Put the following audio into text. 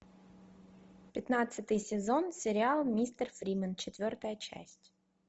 пятнадцатый сезон сериал мистер фримен четвертая часть